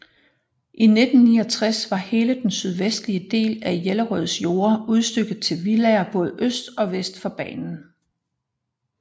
I 1969 var hele den sydvestlige del af Jellerøds jorder udstykket til villaer både øst og vest for banen